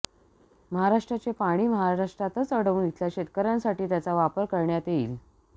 महाराष्ट्राचे पाणी महाराष्ट्रातच अडवून इथल्या शेतकऱ्यांसाठी त्याचा वापर करण्यात येईल